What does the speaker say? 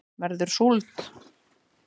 verður súld